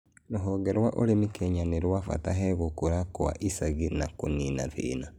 Rũhonge rwa ũrĩmi Kenya nĩrwabata he gũkũra kwa icagi na kũnina thĩna